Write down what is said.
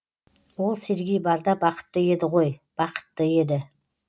ол сергей барда бақытты еді ғой бақытты еді